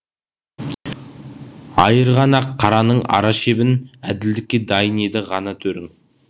айырған ақ қараның ара шебін әділдікке дайын еді ғана төрің